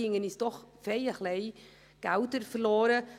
Da gingen uns doch ordentlich Gelder verloren.